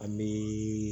A bɛ